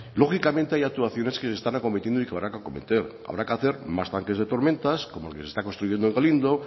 lógicamente hay actuaciones que se están acometiendo y que van a acometer habrá que hacer más parques de tormentas como el que se está construyendo en galindo